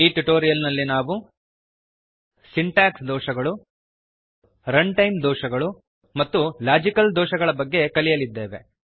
ಈ ಟ್ಯುಟೋರಿಯಲ್ ನಲ್ಲಿ ನಾವು ಸಿಂಟಾಕ್ಸ್ ಎರರ್ಸ್ ಸಿಂಟಾಕ್ಸ್ ದೋಷಗಳು runtime errors and run time ದೋಷಗಳು ಮತ್ತು ಲಾಜಿಕಲ್ ಎರರ್ಸ್ ಲಾಜಿಕಲ್ ದೋಷಗಳ ಬಗ್ಗೆ ಕಲಿಯಲಿದ್ದೇವೆ